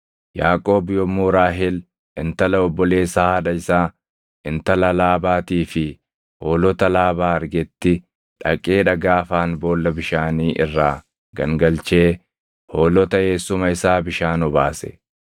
Yaaqoob yommuu Raahel, intala obboleessa haadha isaa intala Laabaatii fi hoolota Laabaa argetti dhaqee dhagaa afaan boolla bishaanii irraa gangalchee hoolota eessuma isaa bishaan obaase.